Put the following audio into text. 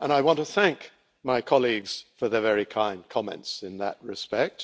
and I want to thank my colleagues for their very kind comments in that respect.